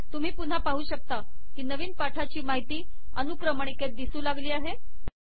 तुम्ही पुन्हा पाहू शकता की नवीन पाठाची माहिती अनुक्रमणिकेत दिसू लागली आहे